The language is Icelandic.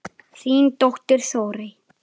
Þín dóttir, Þórey.